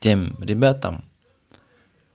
тем ребятам